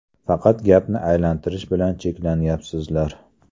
Faqat gapni aylantirish bilan cheklanyapsizlar.